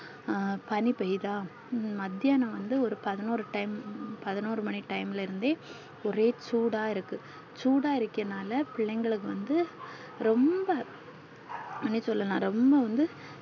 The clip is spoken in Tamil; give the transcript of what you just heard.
அஹ் பணி பேயுதா ஹம் மதியான வந்து ஒரு பதினொரு time பதினொரு மணி time ல இருந்து ஒரே சூடா இருக்கு சூடா இருக்கனால பிள்ளைகளுக்கு வந்து ரொம்ப எப்டி சொல்லலா ரொம்ப வந்து